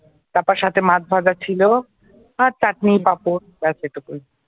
তারপর সাথে মাছ ভাজা ছিল আর চাটনি পাপড় ব্যাস এইটুকুই ।